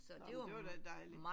Nåh men det var da dejligt